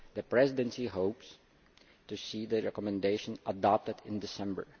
The Presidency hopes to see the Recommendation adopted in December.